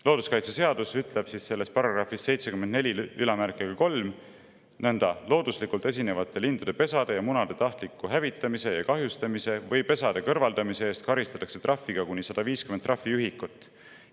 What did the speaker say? Looduskaitseseaduse § 743 ütleb nõnda: "Looduslikult esinevate lindude pesade ja munade tahtliku hävitamise ja kahjustamise või pesade kõrvaldamise eest karistatakse rahatrahviga kuni 150 trahviühikut.